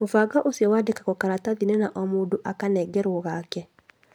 Mũbango ũcio wandĩkagwo karatathi-inĩ na o mũndũ akanengerwo gake